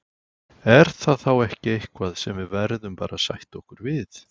Er það þá ekki eitthvað sem við verðum bara að sætta okkur við?